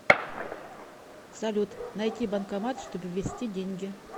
салют найти банкомат чтобы ввести деньги